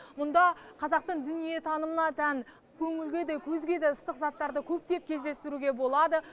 мұнда қазақтың дүниетанымына тән көңілге де көзге де ыстық заттарды көптеп кездестіруге болады